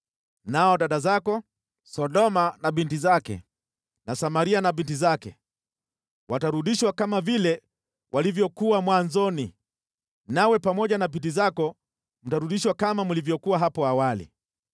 Nao dada zako, Sodoma na binti zake na Samaria na binti zake, watarudishwa kama vile walivyokuwa mwanzoni, nawe pamoja na binti zako mtarudishwa kama mlivyokuwa hapo awali.